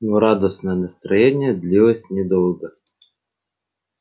но радостное настроение длилось недолго